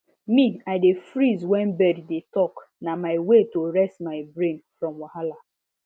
me i dey freeze wen bird dey talkna my way to reset my brain from wahala